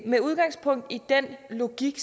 med udgangspunkt i den logik